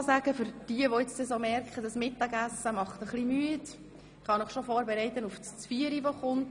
Vielleicht für jene, die gemerkt haben, dass das Mittagessen etwas müde macht: Ich kann Sie schon auf das bevorstehende «Zvieri» vorbereiten.